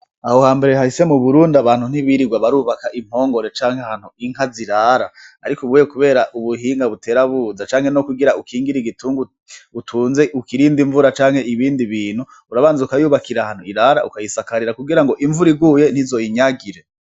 Aho ha mbere hahise mu burundi abantu ntibirirwa barubaka impongore canke hantu inka zirara, ariko ubuye, kubera ubuhinga buterabuza canke no kugira ukingira igitungu utunze ukirinde imvura canke ibindi bintu urabanze ukayubakira hantu irara ukayisakarira kugira ngo imvura iguye ntizoyinyagire.